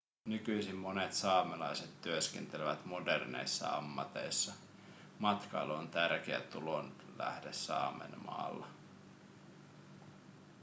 nykyisin monet saamelaiset työskentelevät moderneissa ammateissa matkailu on tärkeä tulonlähde saamenmaassa